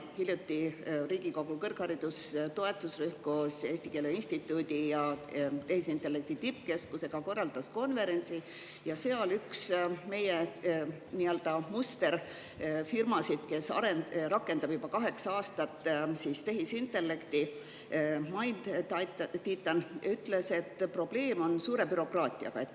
Hiljuti Riigikogu kõrgharidustoetusrühm koos Eesti Keele Instituudi ja tehisintellekti tippkeskusega korraldas konverentsi ja seal üks meie nii-öelda musterfirmasid, kes rakendab juba kaheksandat aastat tehisintellekti MindTitan, ütles, et probleem on suure bürokraatiaga.